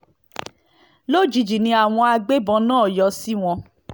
lójijì ni àwọn agbébọn náà yọ sí wọn